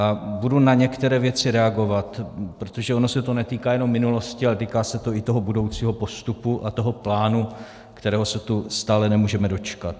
A budu na některé věci reagovat, protože ono se to netýká jenom minulosti, ale týká se to i toho budoucího postupu a toho plánu, kterého se tu stále nemůžeme dočkat.